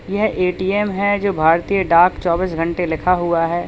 यह ए_टी_एम है जो भारतीय डाक चौबीस घंटे लिखा हुआ है।